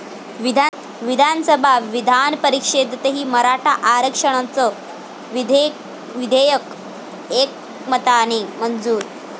विधानसभा, विधानपरिषदेतही मराठा आरक्षणाचं विधेयक एकमताने मंजूर